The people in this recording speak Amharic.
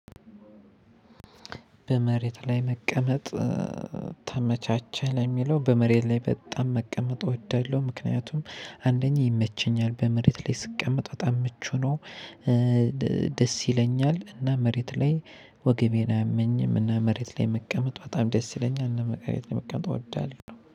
በመሬት ላይ መቀመጥ ተመቻቸህ? ለሚለው በመሬት ላይ በጣም መቀመጥ እወዳለሁ ምክንያቱም አንደኛ ይመቸኛል በመሬት ላይ ስቀመጥ በጣም ምቹ ነው ደስ ይለኛል እና መሬት ላይ ወገቤን አያመኝም እና መሬት ላይ መቀመጥ በጣም ደስ ይለኛል እና መቀመጥ እወዳለሁ